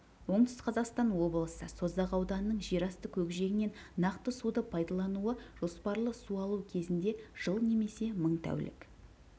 оңтүстік қазақстан облысы созақ ауданының жерасты көкжиегінен нақты суды пайдалануы жоспарлы су алу кезінде жыл немесе мың тәулік